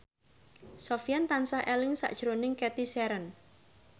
Sofyan tansah eling sakjroning Cathy Sharon